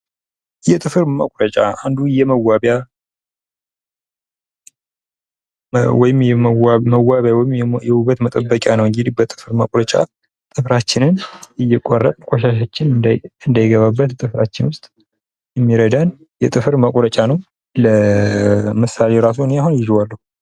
የጥፍር መቁረጫ አንዱ የመዋቢያ ወይም የዉበት መጠበቂያ ነው:: እንግዲህ በጥፍር መቁረጫ ጥፍራችንን እየቆረጥን ቆሻሻችንን እንዳይገባበት ጥፍራችንን ዉስጥ የሚረዳን ጥፍር መቁረጫ ነው:: ለምሳሌ ራሱ አኔ አሁን ይዜዋለሁ::